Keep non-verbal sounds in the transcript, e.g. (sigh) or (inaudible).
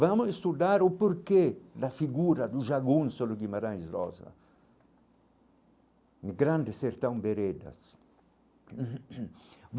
Vamos estudar o porquê da figura do jagunso do Guimarães Rosa, de grandes sertão-veredas. (coughs)